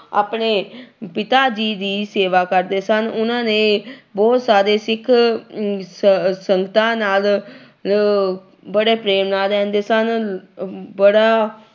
ਆਪਣੇ ਪਿਤਾ ਜੀ ਦੀ ਸੇਵਾ ਕਰਦੇ ਸਨ, ਉਹਨਾਂ ਨੇ ਬਹੁਤ ਸਾਰੇ ਸਿੱਖ ਅਮ ਸ ਸੰਗਤਾਂ ਨਾਲ ਲ ਬੜੇ ਪ੍ਰੇਮ ਨਾਲ ਰਹਿੰਦੇ ਸਨ ਅਮ ਬੜਾ